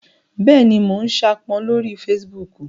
Bẹ́ẹ̀ni, mo n saápọn lórí fesibúùkù